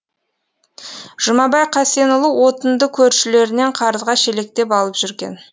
жұмабай қасенұлы отынды көршілерінен қарызға шелектеп алып жүрген